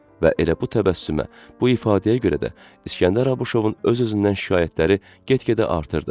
Və elə bu təbəssümə, bu ifadəyə görə də İskəndər Abuşovun öz-özündən şikayətləri get-gedə artırdı.